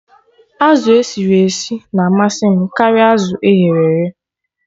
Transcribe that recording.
Azụ esiri esi na-amasị m karịa azụ eghere eghe